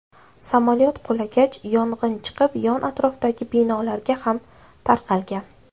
Samolyot qulagach, yong‘in chiqib, yon atrofdagi binolarga ham tarqalgan.